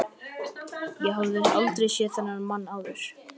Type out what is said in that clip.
Ég hafði aldrei séð þennan mann áður.